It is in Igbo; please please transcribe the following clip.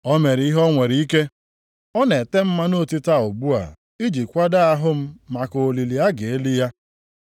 O mere ihe o nwere ike, ọ na-ete m mmanụ otite a ugbu a iji kwado ahụ m maka olili a ga-eli ya.